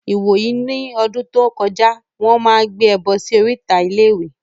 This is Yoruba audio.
Ìwòyí ní lọ́dún tó kọjá, Wọ́n máa ń gbé ẹbọ sí oríta iléèwé